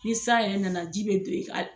Ni san yɛrɛ nana ji bɛ do i kan